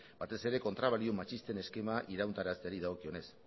batez ere kontrabalio matxisten eskema irauntarazteari dagokionez